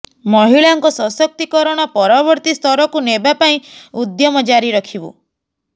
ମହିଳାଙ୍କ ସଶକ୍ତୀକରଣ ପରବର୍ତୀ ସ୍ତରକୁ ନେବା ପାଇଁ ଉଦ୍ୟମ ଜାରି ରଖିବୁ